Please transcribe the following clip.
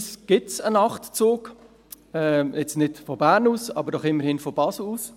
Glücklicherweise gibt es einen Nachtzug, nicht von Bern aus, aber immerhin von Basel aus.